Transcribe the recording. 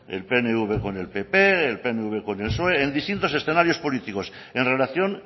el pnv con el pp el pnv con el psoe en distintos escenarios políticos en relación